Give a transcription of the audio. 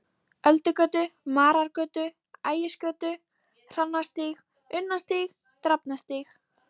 Öldugötu, Marargötu, Ægisgötu, Hrannarstíg, Unnarstíg, Drafnarstíg.